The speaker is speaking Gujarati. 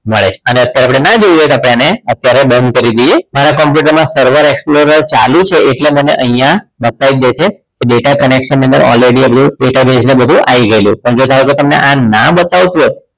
મળે છે અને અત્યારે આપણે ના જોયું હોત તો તો આપણે તેને done કરી દઈએ મારા computer માં server explorer ચાલુ છે એટલે મને અહીંયા બતાવી દે છે કે data connection ની અંદર already આપણો database ને બધું આઈ ગયેલું પણ જો ધારો કે તમને આ ના બતાવતું હોય તો